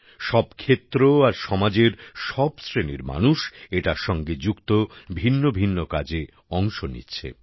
সব ক্ষেত্র আর সমাজের সব শ্রেণীর মানুষ এটার সঙ্গে যুক্ত ভিন্ন ভিন্ন কাজে অংশ নিচ্ছে